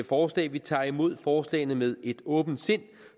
forslag vi tager imod forslagene med et åbent sind